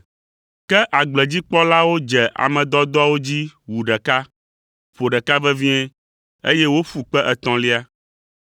Ke agbledzikpɔlawo dze ame dɔdɔawo dzi wu ɖeka, ƒo ɖeka vevie, eye woƒu kpe etɔ̃lia.